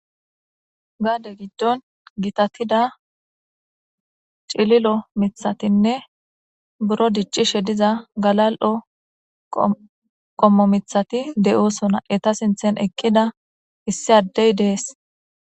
Gade gidon gitatida cililo mithatinne buro dic'ishe diza galal'o qommo mithati de'osona eta sinthen eqida issi adey de'es.